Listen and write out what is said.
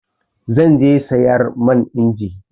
Zan je sayar man injin.